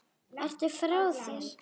Ertu frá þér!